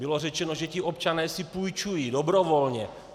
Bylo řečeno, že ti občané si půjčují dobrovolně.